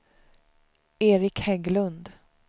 Eric Hägglund